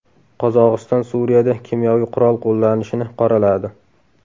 Qozog‘iston Suriyada kimyoviy qurol qo‘llanishini qoraladi.